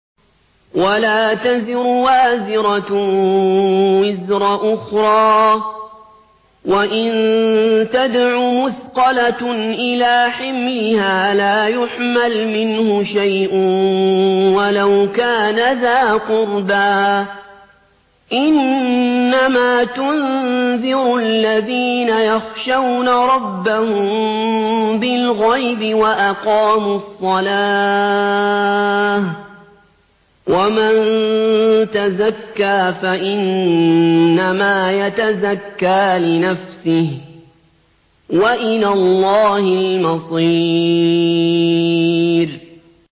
وَلَا تَزِرُ وَازِرَةٌ وِزْرَ أُخْرَىٰ ۚ وَإِن تَدْعُ مُثْقَلَةٌ إِلَىٰ حِمْلِهَا لَا يُحْمَلْ مِنْهُ شَيْءٌ وَلَوْ كَانَ ذَا قُرْبَىٰ ۗ إِنَّمَا تُنذِرُ الَّذِينَ يَخْشَوْنَ رَبَّهُم بِالْغَيْبِ وَأَقَامُوا الصَّلَاةَ ۚ وَمَن تَزَكَّىٰ فَإِنَّمَا يَتَزَكَّىٰ لِنَفْسِهِ ۚ وَإِلَى اللَّهِ الْمَصِيرُ